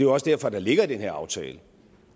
også derfor at der ligger i den her aftale